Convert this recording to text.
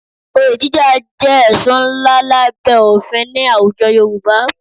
Olè jíjà jẹ́ ẹ̀sùn ńlá lábẹ́ òfin ní àwùjọ Yorùbá